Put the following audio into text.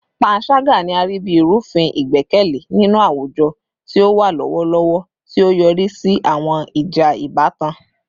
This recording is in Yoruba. Panṣaga ni a rii bi irufin igbẹkẹle ninu awujọ ti o wa lọwọlọwọ, ti o yori si awọn ija ibatan